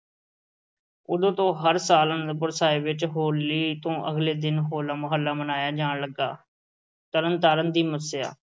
ਉਦੋਂ ਤੋਂ ਹਰ ਸਾਲ ਆਨੰਦਪੁਰ ਸਾਹਿਬ ਵਿੱਚ ਹੋਲੀ ਤੋਂ ਅਗਲੇ ਦਿਨ ਹੋਲਾ ਮਹੱਲਾ ਮਨਾਇਆ ਜਾਣ ਲੱਗਾ। ਤਰਨ ਤਾਰਨ ਦੀ ਮੱਸਿਆ